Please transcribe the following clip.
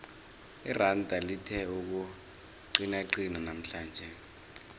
iranda lithe ukuqinaqina namhlanje